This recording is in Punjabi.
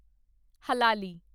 ਹਲਾਲੀ